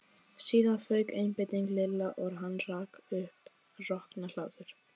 Síðan fauk einbeiting Lilla og hann rak upp roknahlátur.